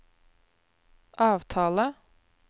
avtale